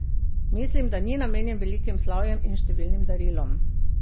Mislim, da ni namenjen velikim slavjem in številnim darilom.